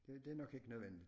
Det det nok ikke nødvendigt